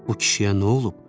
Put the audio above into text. Bu kişiyə nə olub?